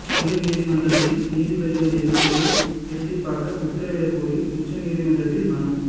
உயா்நீதிமன்றங்களில் நீதிபதிகள் எண்ணிக்கையை இரட்டிப்பாக்க உத்தரவிடக் கோரி உச்சநீதிமன்றத்தில் மனு